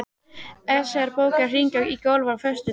Esjar, bókaðu hring í golf á föstudaginn.